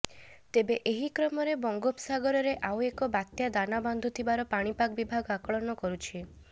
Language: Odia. ତେବେ ଏହି କ୍ରମରେ ବଙ୍ଗୋପସାଗରରେ ଆଉ ଏକ ବାତ୍ୟା ଦାନା ବାନ୍ଧୁଥିବାର ପାଣିପାଗ ବିଭାଗ ଆକଳନ କରୁଛି